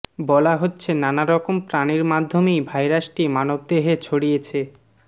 বলা হচ্ছে নানা রকম প্রাণির মাধ্যমেই ভাইরাসটি মানবদেহে ছড়িয়েছে